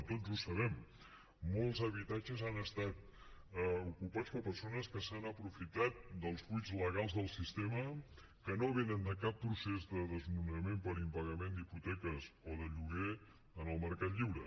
tots ho sabem molts habitatges han estat ocupats per persones que s’han aprofitat dels buits legals del sistema que no venen de cap procés de desnonament per impagament d’hipoteques o de lloguer en el mercat lliure